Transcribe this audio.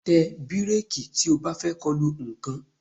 Tẹ bíréèkì tí o bá fẹ́ kolu nǹkan